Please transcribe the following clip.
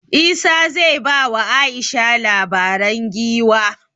Isah zai ba wa Aisha labaren giwa